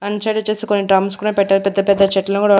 And side వచ్చేసి కొన్ని drums కూడా పెట్టారు పెద్ద పెద్ద చెట్లు కూడా.